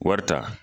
Wari ta